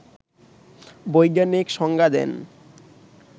বৈজ্ঞানিক সংজ্ঞা দেন